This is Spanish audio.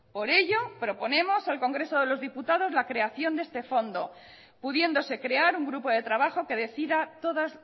por ello proponemos al congreso de los diputados la creación de este fondo pudiéndose crear un grupo de trabajo que decida todas